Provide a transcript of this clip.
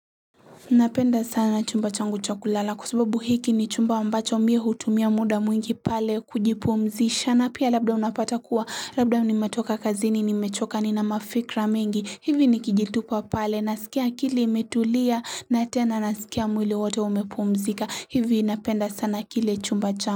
Napenda sana chumba changu cha kulala kwa sababu hiki ni chumba ambacho mi hutumia muda mwingi pale kujipumzisha na pia labda unapata kuwa labda nimetoka kazini nimechoka nina mafikra mengi hivi nikijitupa pale nasikia akili imetulia na tena nasikia mwile wote umepumzika hivi napenda sana kile chumba changu.